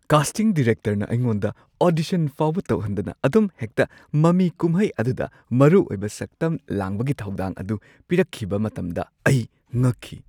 Casting ꯗꯤꯔꯦꯛꯇꯔꯅ ꯑꯩꯉꯣꯟꯗ audition ꯐꯥꯎꯕ ꯇꯧꯍꯟꯗꯅ ꯑꯗꯨꯝ ꯍꯦꯛꯇ ꯃꯃꯤ ꯀꯨꯝꯍꯩ ꯑꯗꯨꯗ ꯃꯔꯨꯑꯣꯏꯕ ꯁꯛꯇꯝ ꯂꯥꯡꯕꯒꯤ ꯊꯧꯗꯥꯡ ꯑꯗꯨ ꯄꯤꯔꯛꯈꯤꯕ ꯃꯇꯝꯗ ꯑꯩ ꯉꯛꯈꯤ ꯫